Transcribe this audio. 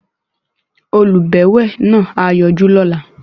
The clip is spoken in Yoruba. Olùbẹ̀wẹ̀ náà á yọjú lọ́la.